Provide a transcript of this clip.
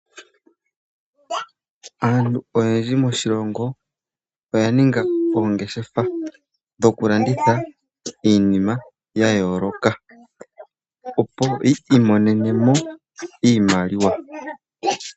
Aantu oyendji moshilongo oya ninga oongeshefa dho kulanditha iinima ya yooloka, opo yi imonenemo iimaliwa.